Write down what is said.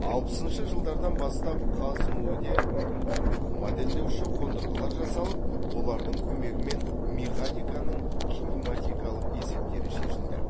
алпысыншы жылдардан бастап қаз му де модельдеуші қондырғылар жасалып олардың көмегімен механиканың кинематикалық есептері шешілді